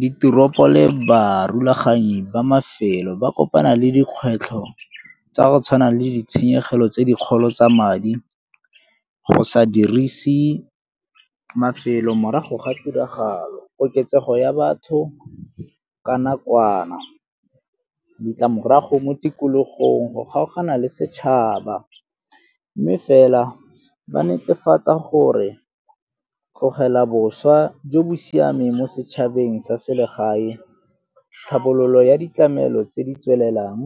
Diteropo le barulaganyi ba mafelo ba kopana le dikgwetlho tsa go tshwana le ditshenyegelo tse dikgolo tsa madi go sa dirise mafelo morago ga tiragalo. Koketsego ya batho ka nakwana, ditlamorago mo tikologong go kgaogana le setšhaba, mme fela ba netefatsa gore tlogela boswa jo bo siameng mo setšhabeng sa selegae, tharabololo ya ditlamelo tse di tswelelang